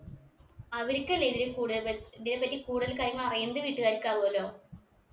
അവരിക്കല്ലേ ഇതിനെ കൂടുതൽ പരി ഇതിനെ പറ്റി കൂടുതൽ കാര്യം അറിയുന്നത് വീട്ടുകാർക്കാവു അല്ലൊ